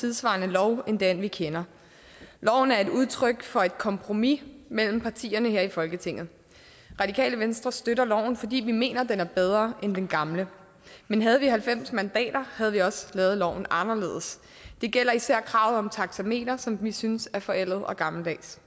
tidssvarende lov end den vi kender loven er et udtryk for et kompromis mellem partierne her i folketinget radikale venstre støtter loven fordi vi mener den er bedre end den gamle men havde vi halvfems mandater havde vi også lavet loven anderledes det gælder især kravet om taxameter som vi synes er forældet og gammeldags